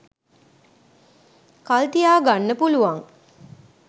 කල් තියාගන්න පුළුවන්.